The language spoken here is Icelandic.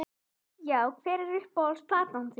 Já Hver er uppáhalds platan þín?